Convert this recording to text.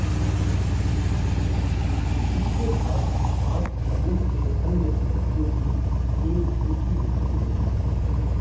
इसके बाद आप समूह के अन्य सदस्यों की एक सूची दिखाई देगी